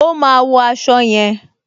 O máa wo aṣọ yẹn.